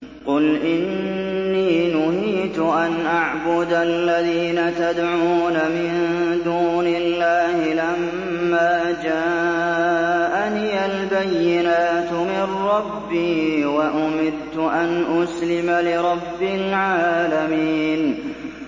۞ قُلْ إِنِّي نُهِيتُ أَنْ أَعْبُدَ الَّذِينَ تَدْعُونَ مِن دُونِ اللَّهِ لَمَّا جَاءَنِيَ الْبَيِّنَاتُ مِن رَّبِّي وَأُمِرْتُ أَنْ أُسْلِمَ لِرَبِّ الْعَالَمِينَ